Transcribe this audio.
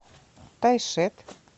тайшет